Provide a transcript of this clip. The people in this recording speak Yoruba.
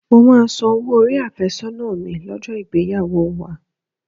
Mo máa san owó orí àfẹ́sọ́nà mi lọ́jọ́ ìgbéyàwó wa